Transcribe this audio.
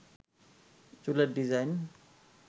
চুলের ডিজাইন